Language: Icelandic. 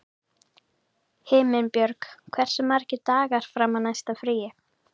Himinbjörg, hversu margir dagar fram að næsta fríi?